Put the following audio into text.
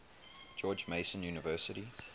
george mason university